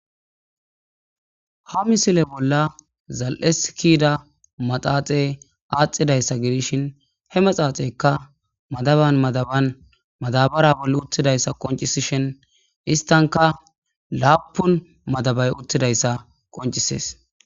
Ha missile bola zal'esi kida madhadhe adhidaysa gidishin he madhadheyka madaban madaban madabara bolan utidaysa qonc'sishin istanka lapun madabay utidaysa beses.